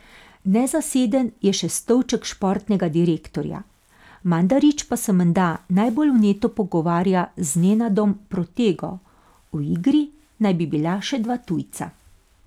Nezaseden je še stolček športnega direktorja, Mandarić pa se menda najbolj vneto pogovarja z Nenadom Protego, v igri naj bi bila še dva tujca.